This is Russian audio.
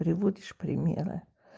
приводишь примеры